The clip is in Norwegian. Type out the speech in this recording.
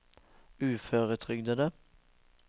uføretrygdede